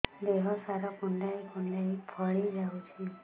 ଦେହ ସାରା କୁଣ୍ଡାଇ କୁଣ୍ଡାଇ ଫଳି ଯାଉଛି